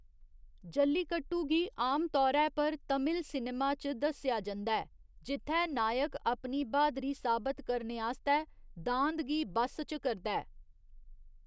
जल्लीकट्टू गी आमतौरै पर तमिल सिनेमा च दस्सया जंदा ऐ जित्थै नायक अपनी ब्हादरी साबत करने आस्तै दांद गी बस्स च करदा ऐ।